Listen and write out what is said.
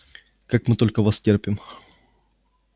как мы только вас терпим